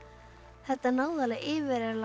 þetta náði alveg yfir